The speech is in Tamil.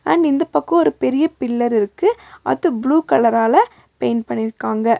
அண்ட் இந்தப் பக்கோ ஒரு பெரிய பில்லர் இருக்கு அது ப்ளூ கலரால பெயிண்ட் பண்ணிருக்காங்க.